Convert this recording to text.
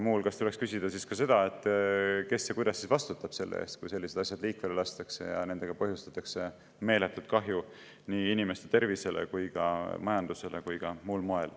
Muu hulgas tuleks küsida ka seda, kes ja kuidas vastutab selle eest, kui sellised asjad liikvele lastakse ja nendega põhjustatakse meeletult kahju nii inimeste tervisele, majandusele kui ka muule.